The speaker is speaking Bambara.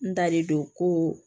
N dalen don koo